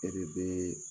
E de bɛ